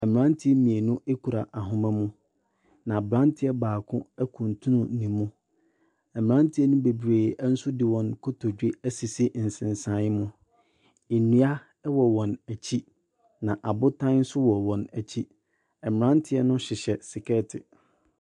Mmeranteɛ mmenu kura ahoma mu, na aberanteɛ baako akuntunu ne mu. Mmeranteɛ no bebree nso de wɔn kotodwe asisi nsensan mu. Nnua wɔ wɔn akyi, na abotan nso wɔ wɔn akyi. Mmeranteɛ no hyehyɛ sekɛɛte.